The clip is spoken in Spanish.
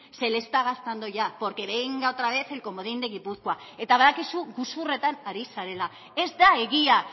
se le está gastando ya porque venga otra vez el comodín de gipuzkoa eta badakizu gezurretan ari zarela ez da egia